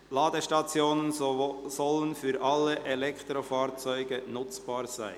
«Ladestationen sollen für alle Elektrofahrzeuge nutzbar sein».